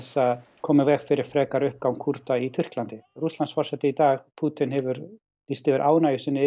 koma í veg fyrir frekari uppgang Kúrda í Tyrklandi Rússlandsforseti í dag Pútín hefur lýst yfir ánægju sinni yfir